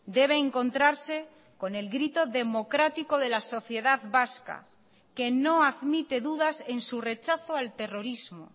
debe encontrarse con el grito democrático de la sociedad vasca que no admite dudas en su rechazo al terrorismo